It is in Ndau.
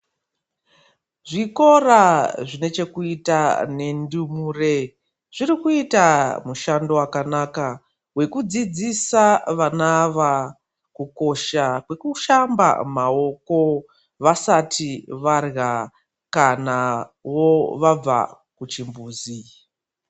Zvikora zvine chekuita ngendumure, zvirikuita mushando wakanaka wekudzidzisa vanava kukosha kwekushamba mawoko vasati vadlya kana wo vabva kuchimbuzi.